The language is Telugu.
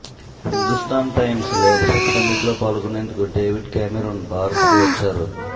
హిందూస్ధాన్ టైమ్స్ లీడర్షిప్ సమ్మిట్లో పాల్గొనేందుకు డేవిడ్ కామెరూన్ భారత్కు వచ్చారు